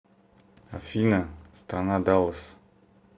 афина страна даллас